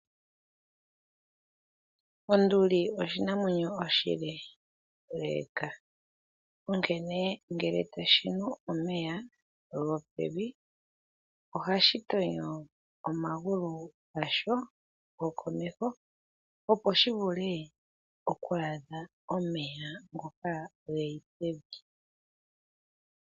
Onduli oshinamwenyo oshileeleeka, onkene ngele ta shi nu omeya gopevi ohashi tonyo omagulu gasho gokomeho, opo shi vule oku adha omeya ngoka ge li pevi.